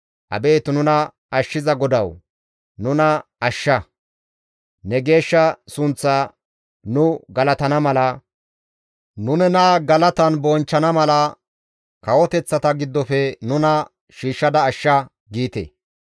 «Abeet nuna ashshiza GODAWU! Nuna ashsha; ne geeshsha sunththaa nu galatana mala, nu nena galatan bonchchana mala kawoteththata giddofe nuna shiishshada ashsha» giite.